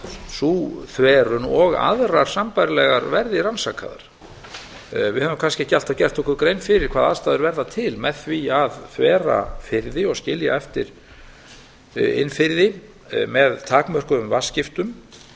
sú þverun og aðrar sambærilegar verði rannsakaðar við höfum kannski ekki alltaf gert okkur grein fyrir hvaða aðstæður verða til með því að þvera firði og skilja eftir innfirði með takmörkuðum